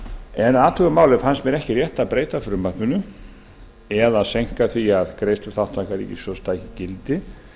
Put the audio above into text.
en að athuguðu máli fannst mér ekki rétt að breyta frumvarpinu eða seinka því að greiðsluþátttaka ríkissjóðs taki gildi